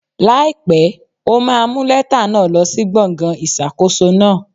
Láìpẹ́, o máa mú lẹ́tà náà lọ sí gbọ̀ngàn ìṣàkóso náà.